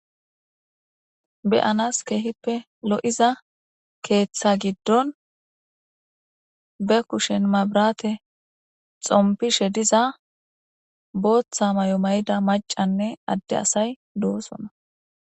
Beyanas keehippe lo7iza keeththa giddon be kushen mabrate xompishe diza booththa may7o mayda macanne adde asay doosonna.